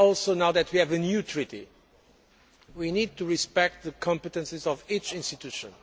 Also, now that we have a new treaty, we need to respect the competences of each institution.